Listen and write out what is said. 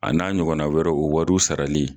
A n'a ɲɔgɔnna wɛrɛw o wariw sarali.